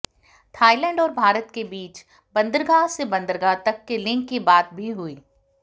Thailand और भारत के बीच बन्दरगाह से बन्दरगाह तक के लिंक की बात भी हुई